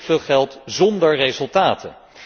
Zo verschrikkelijk veel geld zonder resultaten.